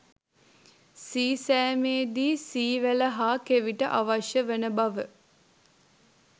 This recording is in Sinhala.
සීසෑමේදී සී වැල හා කෙවිට අවශ්‍ය වන බව